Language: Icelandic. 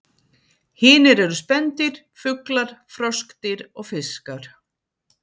Hinir eru spendýr, fuglar, froskdýr og fiskar.